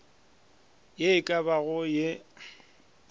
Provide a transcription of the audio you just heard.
ye e ka bago ye